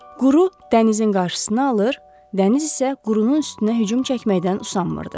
Quru dənizin qarşısını alır, dəniz isə qurunun üstünə hücum çəkməkdən usanmırdı.